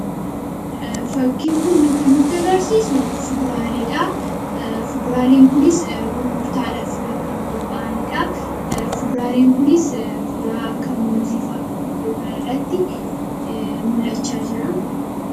Fakkiin kun kan nutti agarsiisuu fuduraalee dhaa. Fuduraaleen kunis gurgurtaadhaaf kan qophaa'ani dhaa. Fuduraaleen kunis fuduraa akka muuziifaa iddoo kanarratti mul'achaa jira.